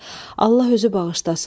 Allah özü bağışlasın.